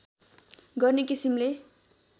गर्ने किसिमले